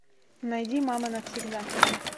найди мама навсегда